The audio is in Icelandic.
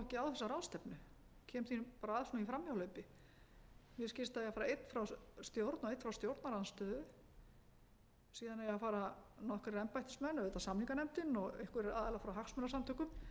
að í beinu framhjáhlaupi mér skilst að eigi að fara einn frá stjórn og einn frá stjórnarandstöðu síðan eigi að fara nokkrir embættismenn auðvitað samninganefndin og einhverjir aðilar frá hagsmunasamtökum